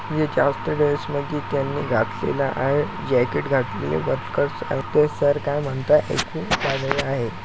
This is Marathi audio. की त्यांनी घातलेला आहे जैकेट घातलेले वर्कर्स आहे ते सर काय म्हणतायेत ऐकू लागलेले आहे.